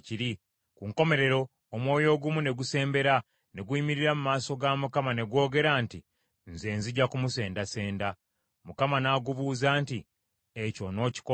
Ku nkomerero, omwoyo ogumu ne gusembera, ne guyimirira mu maaso ga Mukama ne gwogera nti, ‘Nze nzija kumusendasenda.’ “ Mukama n’agubuuza nti, ‘Ekyo onookikola otya?’